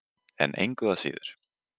En engu að síður.